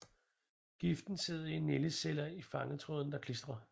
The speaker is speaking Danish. Giften sidder i nældeceller i fangtrådene der klistrer